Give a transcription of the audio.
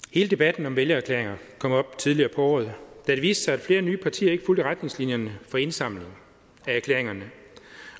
hele debatten om vælgererklæringer kom jo op tidligere på året da det viste sig at flere nye partier ikke fulgte retningslinjerne for indsamling af erklæringerne